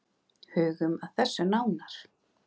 Hugum að þessu nánar.